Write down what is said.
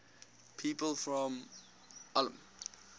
people from ulm